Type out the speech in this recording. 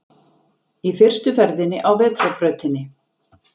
Í fyrstu ferðinni á vetrarbrautinni